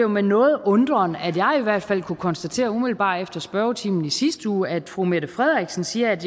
med nogen undren at jeg i hvert fald kunne konstatere umiddelbart efter spørgetimen i sidste uge at fru mette frederiksen siger at